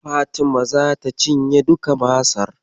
Fatima zata cinye duka Masar.